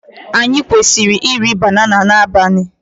Anyị kwesịrị iri banana n'abalị?